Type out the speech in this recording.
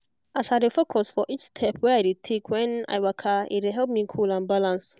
as i dey focus for each step wey i dey take when i waka e dey help me cool and balance